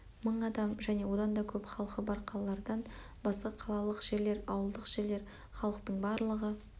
мың адам және одан да көп халқы бар қалалардан басқа қалалық жерлер ауылдық жерлер халықтың барлығы